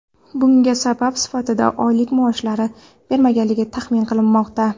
Bunga sabab sifatida oylik maoshlari berilmagani taxmin qilinmoqda.